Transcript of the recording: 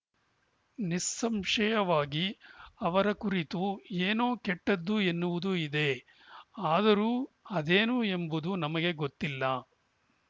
ನಿಸ್ಸಂಶಯವಾಗಿ ಅವರ ಕುರಿತು ಏನೋ ಕೆಟ್ಟದ್ದು ಎನ್ನುವುದು ಇದೆ ಆದರೂ ಅದೇನು ಎಂಬುದು ನಮಗೆ ಗೊತ್ತಿಲ್ಲ